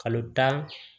Kalo tan